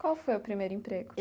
Qual foi o primeiro emprego?